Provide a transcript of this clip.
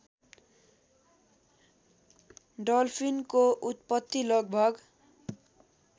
डल्फिनको उत्पत्ति लगभग